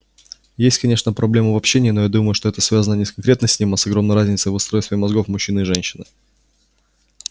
есть конечно проблемы в общении но я думаю что это связано не с конкретно с ним а с огромной разницей в устройстве мозгов мужчины и женщины